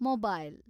mobile